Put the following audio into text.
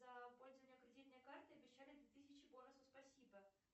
за пользование кредитной картой обещали две тысячи бонусов спасибо